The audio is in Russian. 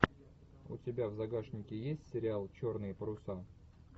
у тебя в загашнике есть сериал черные паруса